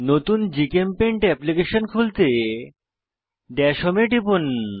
নতুন GChemPaint application খুলতে dash home এ টিপুন